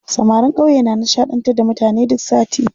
Samarin ƙauye na nishaɗantar da mutane duk sati.